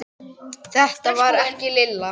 Þetta var ekki Lilla.